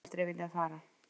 Ég hef aldrei viljað fara.